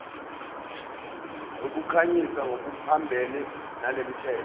zokukhanyisa ngokuphambene nalomthetho